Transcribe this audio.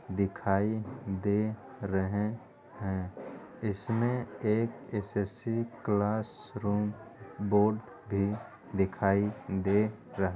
दिखाई दे रहें हैं इसमें एक एस.एस.सी. क्लास रूम बोर्ड भी दिखाई दे रह --